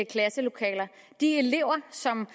klasselokaler de elever som